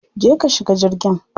Je ka shiga jirgin.